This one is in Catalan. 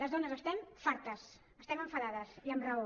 les dones n’estem fartes estem enfadades i amb raó